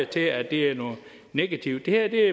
til at det er noget negativt det her